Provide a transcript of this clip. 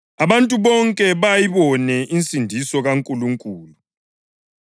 Abantu bonke bazayibona insindiso kaNkulunkulu.’ + 3.6 U-Isaya 40.3-5”